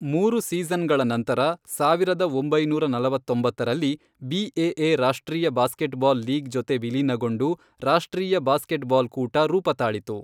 ಮೂರು ಸೀಸನ್ಗಳ ನಂತರ, ಸಾವಿರದ ಒಂಬೈನೂರ ನಲವತ್ತೊಂಬತ್ತರಲ್ಲಿ, ಬಿಎಎ ರಾಷ್ಟ್ರೀಯ ಬಾಸ್ಕೇಟ್ಬಾಲ್ ಲೀಗ್ ಜೊತೆ ವಿಲೀನಗೊಂಡು ರಾಷ್ಟ್ರೀಯ ಬಾಸ್ಕೇಟ್ಬಾಲ್ ಕೂಟ ರೂಪತಾಳಿತು.